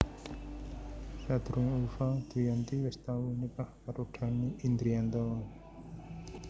Sadurungé Ulfa Dwiyanti wis tau nikah karo Dhanny Indrianto